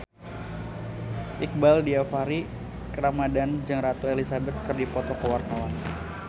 Iqbaal Dhiafakhri Ramadhan jeung Ratu Elizabeth keur dipoto ku wartawan